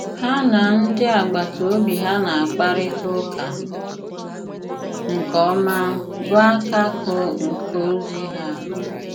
Hà na ndị agbàtà òbì ha na-àkparịta ụ̀kà nke òmá bụ̀ àkàkụ̀ nke ozi ha.